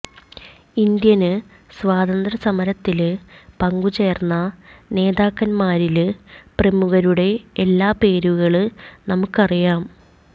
Indian സ്വാതന്ത്ര്യസമരത്തില് പങ്കുചേര്ന്ന നേതാക്കന്മാരില് പ്രമുഖരുടെ എല്ലാം പേരുകള് നമ്മള്ക്കറിയാം